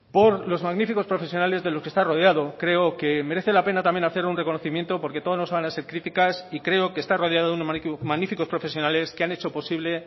por los magníficos profesionales de los que está rodeado creo que merece la pena también hacer un reconocimiento porque no todo van a ser críticas y creo que estar rodeado de unos magníficos profesionales que han hecho posible